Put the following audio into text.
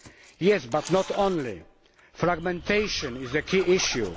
Yes, but not only. Fragmentation is a key issue.